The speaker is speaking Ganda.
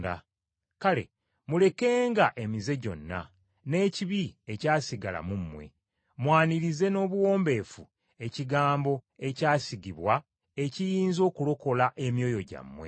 Kale mulekenga emize gyonna, n’ekibi ekyasigala mu mmwe, mwanirize n’obuwombeefu ekigambo ekyasigibwa ekiyinza okulokola emyoyo gyammwe.